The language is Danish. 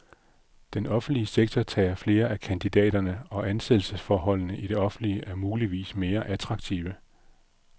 Den offentlige sektor tager flere af kandidaterne, og ansættelsesforholdene i det offentlige er muligvis mere attraktive.